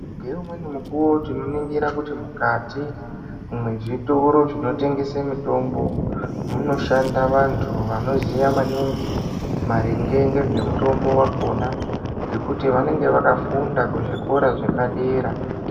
Ngeumweni mukuwo tinoningira kuti mukati mwezvitoro zvinotengese mitombo munoshanda vantu vanoziva maningi maringe ngezvemutombo wakhona ngekuti vanenge vakafunda kuzvikora zvepadera.